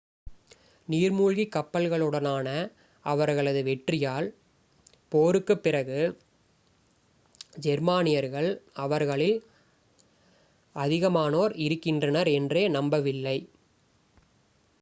நீர் மூழ்கிக் கப்பல்களுடனான அவர்களது வெற்றியால் போருக்குப் பிறகு ஜெர்மனியர்கள் அவர்களில் அதிகமானோர் இருக்கின்றனர் என்றே நம்பவில்லை